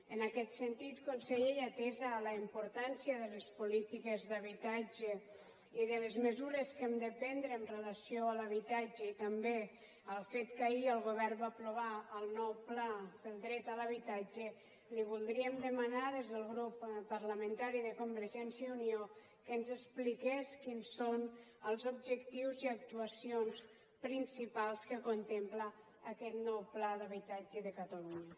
en aquest sentit conseller i atesa la importància de les polítiques d’habitatge i de les mesures que hem de prendre amb relació a l’habitatge i també el fet que ahir el govern va aprovar el nou pla per al dret a l’habitatge li voldríem demanar des del grup parlamentari de convergència i unió que ens expliqués quins són els objectius i actuacions principals que contempla aquest nou pla per a l’habitatge de catalunya